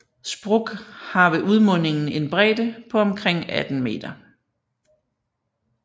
Zbruch har ved udmundingen en bredde på omkring 18 meter